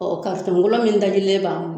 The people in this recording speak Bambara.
min dabirilen b'an